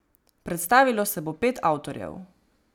Predstavilo se bo pet avtorjev.